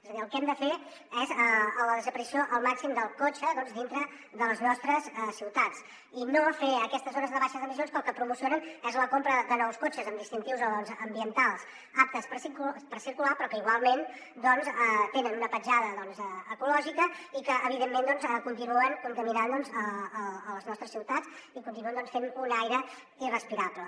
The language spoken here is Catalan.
és a dir el que hem de fer és la desaparició al màxim del cotxe dintre de les nostres ciutats i no fer aquestes zones de baixes d’emissions que el que promocionen és la compra de nous cotxes amb distintius ambientals aptes per circular però que igualment tenen una petjada ecològica i que evidentment continuen contaminant les nostres ciutats i continuen fent un aire irrespirable